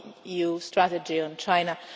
EU strategy on China.